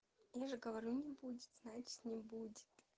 я же говорю не будет знать не будет